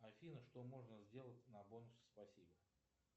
афина что можно сделать на бонусы спасибо